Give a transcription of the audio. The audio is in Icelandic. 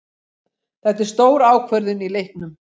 Þetta er stór ákvörðun í leiknum.